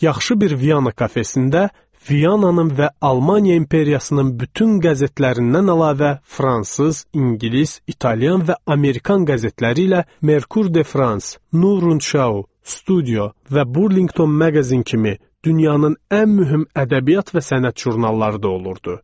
Yaxşı bir Viana kafesində Viananın və Almaniya imperiyasının bütün qəzetlərindən əlavə, fransız, ingilis, italyan və amerikan qəzetləri ilə Merkur de Frans, Nurun Şau, Studio və Burlingtın Magazine kimi dünyanın ən mühüm ədəbiyyat və sənət jurnalları da olurdu.